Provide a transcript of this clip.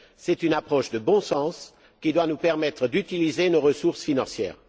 C'est une approche de bon sens qui doit nous permettre d'utiliser nos ressources financières.